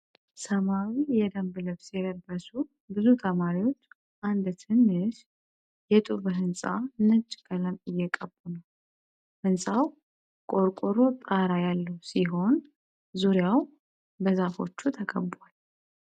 ሰማያዊ የደንብ ልብስ የለበሱ ብዙ ተማሪዎች አንድ ትንሽ የጡብ ሕንጻ ነጭ ቀለም እየቀቡ ነው። ሕንጻው ቆርቆሮ ጣራ ያለው ሲሆን ዙሪያው በዛፎች ተከቧል።